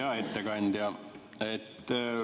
Hea ettekandja!